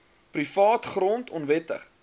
privaat grond onwettig